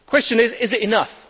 The question is is it enough?